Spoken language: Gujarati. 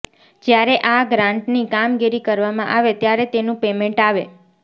જ્યારે આ ગ્રાન્ટ ની કામગીરી કરવામાં આવે ત્યારે તેનું પેમેન્ટ આવે